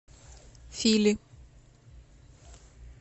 фили